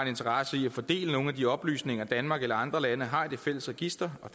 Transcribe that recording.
interesse i at få del i nogle af de oplysninger danmark eller andre lande har i det fælles register og